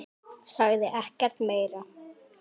Sagði ekkert meira.